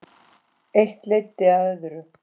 Eitt leiddi af öðru.